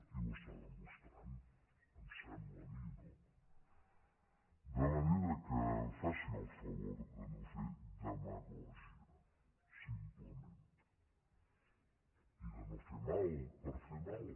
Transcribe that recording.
i ho està demostrant em sembla a mi no de manera que faci el favor de no fer demagògia simplement i de no fer mal per fer mal